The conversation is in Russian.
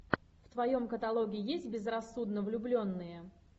в твоем каталоге есть безрассудно влюбленные